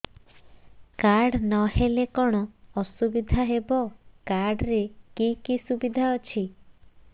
card ନହେଲେ କଣ ଅସୁବିଧା ହେବ କାର୍ଡ ରେ କି କି ସୁବିଧା ଅଛି